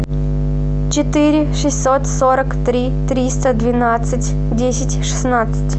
четыре шестьсот сорок три триста двенадцать десять шестнадцать